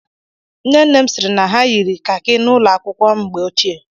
Nne nne m sịrị na ha yiri kaki n'ụlọ akwụkwọ a mgbe ochie.